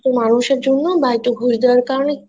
মানুষের জন্য বা একটু ঘুষ দেওয়ার কারনে